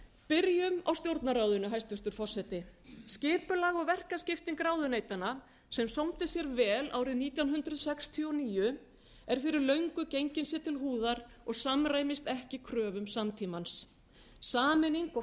byrjum á stjórnarráðinu hæstvirtur forseti skipulag og verkaskipting ráðuneytanna sem sómdi sér vel árið nítján hundruð sextíu og níu er fyrir löngu gengin sér til húðar og samræmist ekki kröfum samtímans sameining og